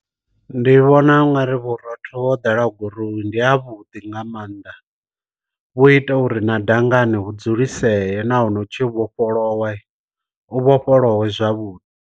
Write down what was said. Ndi vhona ungari bora vhathu vho ḓala gurowu ndi ha vhuḓi nga mannḓa, vhu ita uri na dangani hu dzuliseye na hone u tshi vhofholowa u vhofholowe zwavhuḓi.